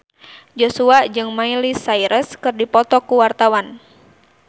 Joshua jeung Miley Cyrus keur dipoto ku wartawan